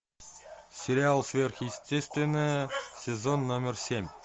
сериал сверхъестественное сезон номер семь